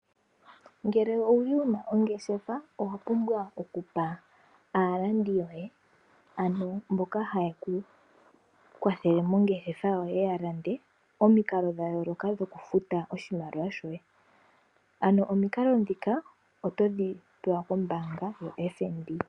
Ngele owuli wuna ongeshefa owa pumbwa okupa aalandi yoye, ano mboka haye ku kwathele mongeshefa yoye ya lande, omikalo dha yooloka dhoku futa oshimaliwa shoye, ano omikalo ndhika otodhi pewa kombaanga yo FNB.